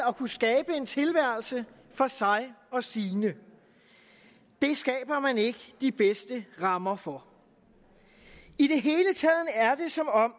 at kunne skabe en tilværelse for sig og sine det skaber man ikke de bedste rammer for i det hele taget er det som om